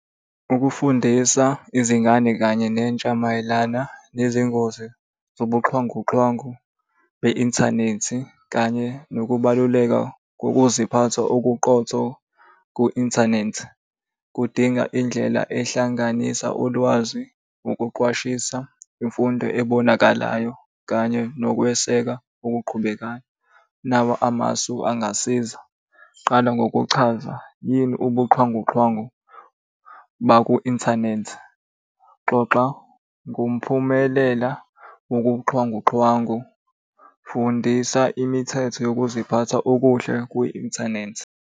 Ukufundisa izingane kanye nentsha mayelana nezingozi zobuxhwangu xhwangu be-inthanethi kanye nokubaluleka kokuziphatha okuqotho ku-inthanethi kudinga indlela ehlanganisa ulwazi, ukuqwashisa, imfundo ebonakalayo, kanye nokweseka okuqhubekayo. Nawa amasu angasiza, qala ngokuchaza, yini ubuxhwanguxhwangu baku inthanethi? Xoxa ngomphumelela wobuxhwanguxhwangu. Fundisa imithetho yokuziphatha okuhle kwi-inthanethi.